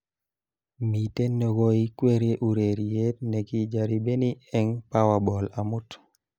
Miten nekoikweri urereyet nekijaribeni eng Powerball amut